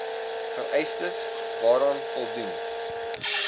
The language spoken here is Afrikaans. vereistes waaraan voldoen